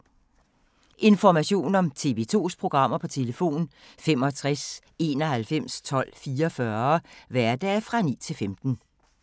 Information om TV 2's programmer: 65 91 12 44, hverdage 9-15.